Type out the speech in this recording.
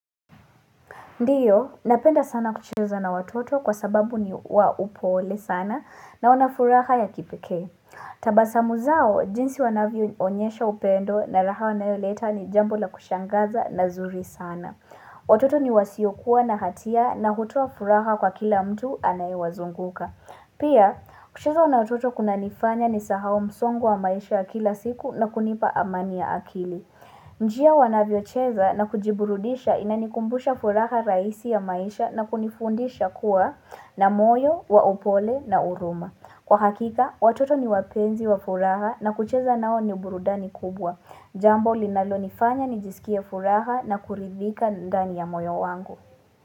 Ndiyo, napenda sana kucheza na watoto kwa sababu ni wa upole sana na wanafuraha ya kipeke. Tabasamu zao, jinsi wanavyo onyesha upendo na raha wanayo leta ni jambu la kushangaza na zuri sana. Watoto ni wasiokuwa na hatia na hutua furaha kwa kila mtu anaiwazunguka. Pia, kucheza na watoto kuna nifanya ni sahau msongu wa maisha ya kila siku na kunipa amania akili. Njia wanavyocheza na kujiburudisha ina nikumbusha furaha raisi ya maisha na kunifundisha kuwa na moyo, waupole na uruma Kwa hakika, watoto ni wapenzi wa furaha na kucheza nao ni burudani kubwa Jambo linalonifanya nijisikia furaha na kuridhika ndani ya moyo wangu.